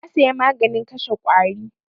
Na saya maganin kashe ƙwari.